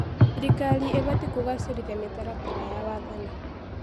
Thirikari ĩbatiĩ kũgacĩrithia mĩtaratara ya wathani.